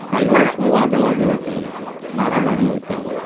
काही वेळस मग वादावादी होते. मारामारी होते